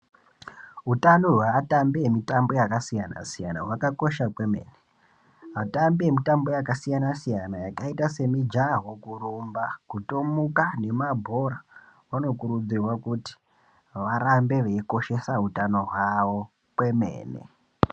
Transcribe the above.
Hutano hweatambi emitambo yakasiyana-siyana hwakakosha kwemene. Atambi emitambo yakasiyana-siyana, yakaita semijaho, kurumba, kutomuka nemabhora, vanokurudzirwa kuti varambe veikoshesa utano hwavo kwemene.